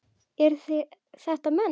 Eru þetta menn?